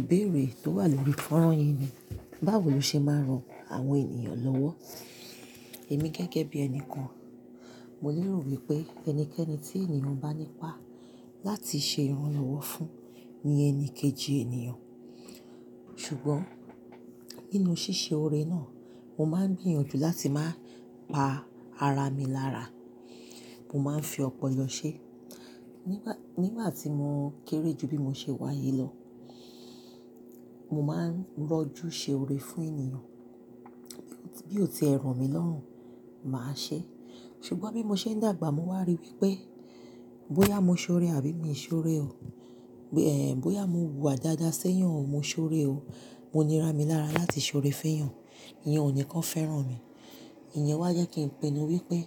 Ìbéèrè tó wà lórí fọ́nrán yìí ni báwo ló ṣe máa ń ran àwọn ènìyàn lọ́wọ́? Èmi gẹ́gẹ́ bí ẹni kan, mọ lérò wípé ẹnikẹ́ni tí ènìyàn bá nípá láti ṣe ìrànlọ́wọ́ fún ni ẹni kejì ènìyàn. Ṣùgbọ́n, nínú ṣíṣe ore náà, mo máa ń gbìyànjú láti máa pa ara mi lára. Mo máa ń fi ọpọ̀lọ ṣẹ. Nígbà tí mo kéré jù bí mo ṣe wáyi lọ, mọ máa ń rọ́jú ṣe ore fún èyàn bí ó tiẹ ro mi lọ́rùn, màá ṣe. Ṣùgbọ́n bí mo ṣe ń dàgbà, mo wá rí wípé bóyá mo ṣe ọrẹ àbí mi ṣe ọrẹ o, bóyá mo wùwà dáadáa sẹ́yàn o, mo ṣe ọrẹ o. Mọ ní rá mi lára láti ṣe ọrẹ fẹ́yàn. Ìyẹn ò ní kán fẹ́ràn mi. Ìyẹn wá jẹ́ kí n pinu wípé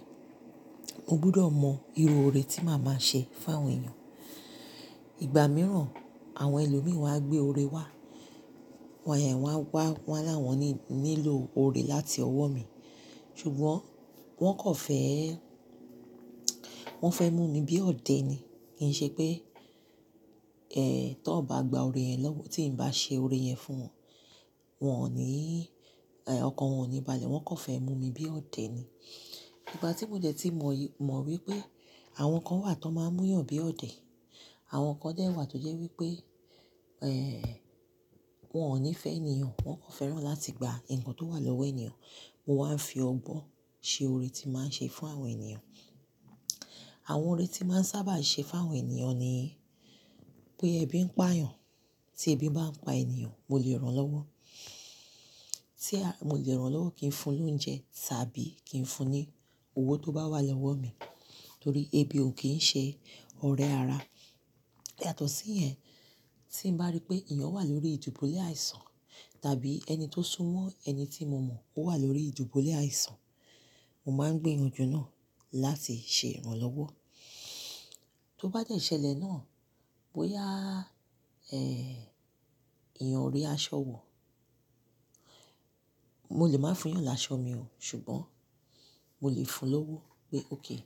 mo gbúdọ̀ mọ irú ọrẹ tí màá má ṣe fún àwọn èyàn. Ìgbà mìíràn àwọn ẹlòmí wá gbé ọrẹ wá, wà wá láwọn ni lílo ọrẹ láti ọwọ́ mi. Ṣùgbọ́n wọ́n kò fẹ́, wọ́n fẹ́ mú mi bí ọdẹ ni. Kìí ṣe pé tò bá gba ọrẹ yẹn náà, tí n bá ṣe ore yẹn fún wọn, wọn ò ní, ọkàn wọn ò ní balẹ̀. Wọ́n kò fẹ́ mú mi bí ọdẹ ni. Ìgbà tí mo dẹ́ tí mo mọ wípé àwọn kan wà tó máa múyàn bí ọdẹ, àwọn kan dé wà tó jẹ́ wípé wọ́n ò ní fẹ́ ènìyàn, wọ́n kò fẹ́ràn láti gba ǹkan tó wà lọ́wọ́ ènìyàn, mọ wá ń fi ọgbọ́n ṣe ọrẹ tí màá ń ṣe fún àwọn ènìyàn. Àwọn ọrẹ tí màá ń sábà ṣe fún àwọn ènìyàn ni bóyá ebi ń pà yàn, tí ebi bá ń pa ènìyàn, mọ lè rán lọ́wọ́. Tí a kò lè rán lọ́wọ́ kìí fún lóúnjẹ, tàbí kì fún ní owó tó bá wà lọ́wọ́ mi, torí ebi ò kìí ṣe ọrẹ ara. Yàtọ̀ sí yẹn, tí n bá rí pé ènìyàn wà lórí ìdìbulé àìsàn tàbí ẹni tó súnmọ́ ẹni tí mo mọ̀ ó wà lórí ìdìbulé àìsàn, mo máa ń gbìyanjú náà láti ṣe ìrànlọ́wọ́. Tó bá dẹ́ ṣẹ̀lẹ̀ náà, bóyá èyàn o rí aṣọ wò, mo lè máa fún yàn láṣọ mi o, ṣùgbọ́n mo lè fún lọ́wọ́ pé okay,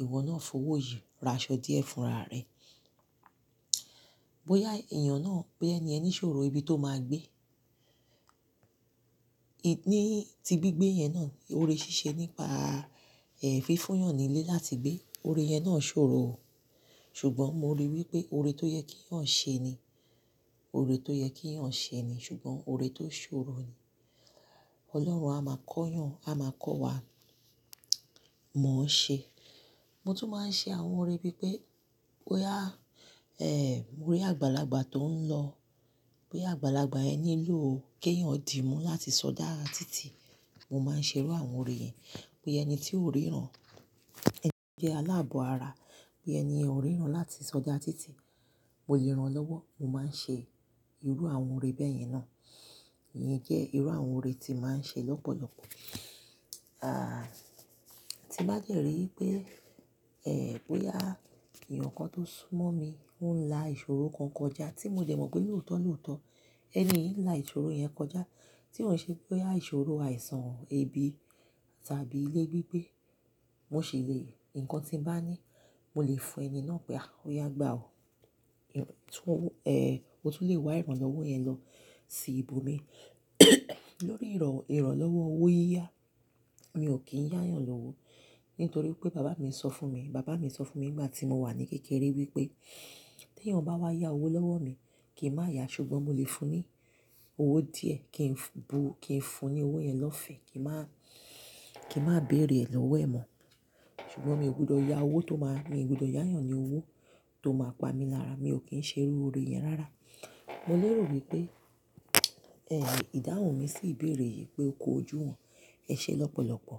ìwọ náà fowó yìí ra aṣọ díẹ̀ fún ara rẹ. Bóyá èyàn náà, bóyá ẹniyẹn ni ṣòro ibi tó máa gbé, níí ti gbígbé yẹn náà, ọrẹ ṣíṣe nípa fífún yàn ní ilé láti gbé, ọrẹ yẹn náà ṣòro o. Ṣùgbọ́n mo ríi wípé ọrẹ tó yẹ keyàn ṣe ni, ọrẹ tó yẹ kí èèyàn ṣe ni, ṣùgbọ́n ọrẹ tó ṣòro ni. Ọlọ́run á máa kọ́ yàn, á máa kọ́ wa, mò ṣe. Mo tún máa ń ṣe àwọn ọrẹ bí pé bóyá àgbàlagbà tó ń lọ, bóyá àgbàlagbà yẹn nílò kéèyàn dì mú láti sọdá títì, mo máa ń ṣe irú àwọn ọrẹ yẹn. Bóyá ẹni tí ò ríran, ẹni tí jẹ́ aláàbọ̀ ara, bóyá ẹni yẹn ò ríran láti sọdá títì, mọ lè rán lọ́wọ́. Mo máa ń ṣe irú àwọn ọrẹ bẹ́yẹn náà. Ìyẹn jẹ́ irú àwọn ore tí màá ń ṣe lọ́pọ̀lọpọ̀. Aah! Tín bá dẹ́ rí i pé è, bóyá èyàn kan tó súnmọ́ mi o la ìṣòro kan kọjá tí mo tẹ mọ̀ pé lóòótọ́ lóòótọ́, ẹni yín ń la ìṣòro yẹn kọjá tí ọ́ ṣe, bóyá ìṣòro àìsàn, ebi tàbí ilé gbigbe, mọ ṣì le, ǹkan tí ń bá ní, mo lè fún ẹni náà pé a, óyá gbà o. O tún lẹ wá ìrànlọ́wọ́ yẹn lọ sí ibo mi. Lórí ìrànlọ́wọ́ owó yíyá, mi ò kìí yá yàn lọ́wọ́. Nítorí pé bàbá mi sọ fún mi, bàbá mi sọ fún mi nígbà tí mo wà ní kékeré wípé tí ẹ̀yàn bá wá yá owó lọ́wọ́ mi, kìí má yá, ṣùgbọ́n mo lè fún ní owó díẹ̀, kí n bu, kí n fún ní owó yẹn lọ́fẹ̀ẹ́, kí n má, kí n má béèrè ẹ̀ lọ́wọ́ ẹ̀ mọ́. Ṣùgbọ́n mi ò gbudọ̀ yá owó tó máa, mi ò gbudọ̀ yá yàn ní owó tó máa pa mi lára, mi ò kí ń ṣe irú ọrẹ yẹn rárá. Mọ lérò wípé, è ìdáhùn mí sì ibéèrè yìí pé ó kojú wọn ẹ ṣe lọ́pọ̀lọpọ̀.